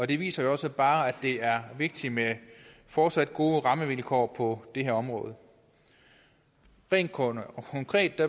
det viser jo også bare at det er vigtigt med fortsat gode rammevilkår på det her område rent konkret